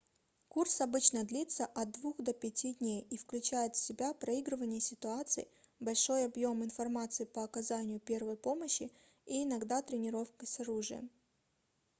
курс обычно длится от 2 до 5 дней и включает в себя проигрывание ситуаций большой объем информации по оказанию первой помощи и иногда тренировки с оружием